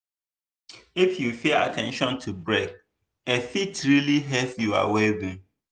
if you pay at ten tion to break e fit really help your well-being.